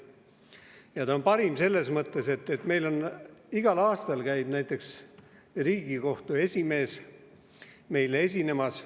Ja ta on parim selles mõttes, et igal aastal käib Riigikohtu esimees meile esinemas.